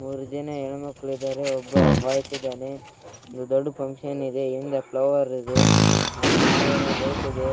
ಮೂರು ಜನ ಹೆಣ್ಣು ಮಕ್ಕಳು ಇದ್ದಾರೆ ಒಬ್ಬ ಬಾಯ್ಸ್‌ ಇದ್ದಾನೆ ಇದು ದೊಡ್ಡ ಫಂಕ್ಷನ್‌ ಇದೆ ಹಿಂದೆ ಪ್ಲವರ್‌ ಇದೆ ಆಮೇಲೆ ಲೈಟ್‌ ಇದೆ